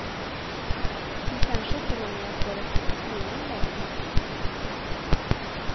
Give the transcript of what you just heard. Hon kanske till och med får ett litet leende om hon är snäll.